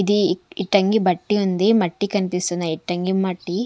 ఇది ఇట్టంగి బట్టి ఉంది మట్టి కనిపిస్తుంద ఇట్టంగి మట్టి.